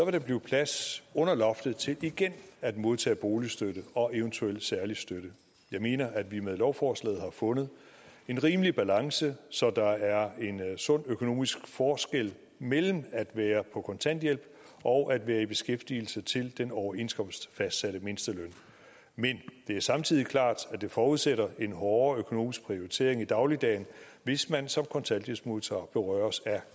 der blive plads under loftet til igen at modtage boligstøtte og en eventuel særlig støtte jeg mener at vi med lovforslaget har fundet en rimelig balance så der er en sund økonomisk forskel mellem at være på kontanthjælp og at være i beskæftigelse til den overenskomstfastsatte mindsteløn men det er samtidig klart at det forudsætter en hårdere økonomisk prioritering i dagligdagen hvis man som kontanthjælpsmodtager berøres af